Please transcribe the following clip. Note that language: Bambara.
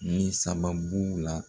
Min sababu la